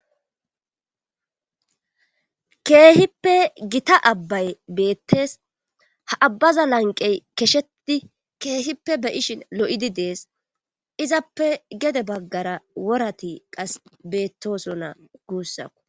Keehippe gita abbay beettees ha abbaza lanqqey keshetti keehippe be7ishin lo7idi dees izappe wora bagggara worati qas beettoosona guussa